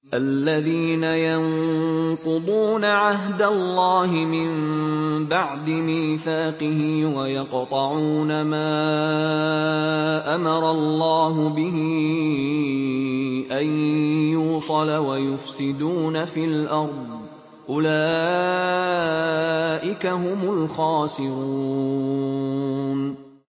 الَّذِينَ يَنقُضُونَ عَهْدَ اللَّهِ مِن بَعْدِ مِيثَاقِهِ وَيَقْطَعُونَ مَا أَمَرَ اللَّهُ بِهِ أَن يُوصَلَ وَيُفْسِدُونَ فِي الْأَرْضِ ۚ أُولَٰئِكَ هُمُ الْخَاسِرُونَ